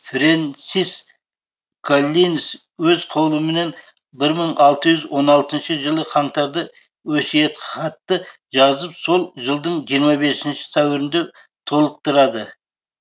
фрэнсис коллинз өз қолыменен бір мың алты жүз он алтыншы жылы қаңтарда өсиетхатты жазып сол жылдың жиырма бесінші сәуірінде толықтырады